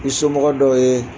somɔgɔ dɔw ye